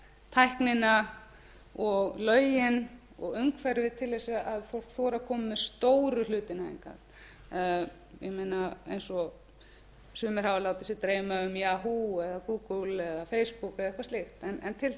tæknina og lögin og umhverfið til að fólk þori að koma með stóru hlutina hingað ég meina eins og sumir hafa látið sig dreyma um yahoo eða google eða facebook eða eitthvað slíkt en til þess